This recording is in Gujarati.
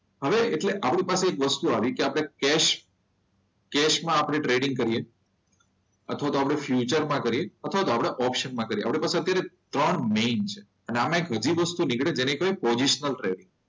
આવે એટલે આપણી પાસે એક વસ્તુ આવી કે આપણે કેશ કેસમાં આપને ટ્રેડિંગ કરીએ અથવા તો આપણે ફ્યુચર માં કરીએ અથવા તો આપણે ઓપ્શન માં કર્યો આપણી પાસે અત્યારે ત્રણ મેઈન છે. આમાં એક વધુ વસ્તુ નીકળે છે જેને કહેવાય પોઝિશનલ ટ્રેડિંગ.